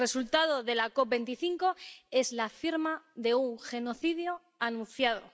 El resultado de la COP25 es la firma de un genocidio anunciado.